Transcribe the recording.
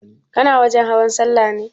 Kana wajen hawan sallah ne?